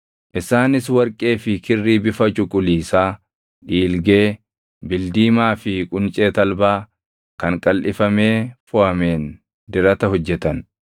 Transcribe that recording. Isaanis warqee fi kirrii bifa cuquliisaa, dhiilgee, bildiimaa fi quncee talbaa kan qalʼifamee foʼameen dirata hojjetan.